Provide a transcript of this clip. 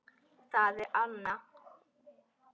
Það er Anna.